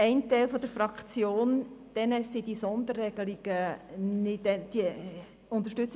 Ein Teil mag solche Sonderregelungen nicht unterstützen.